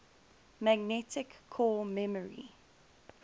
magnetic core memory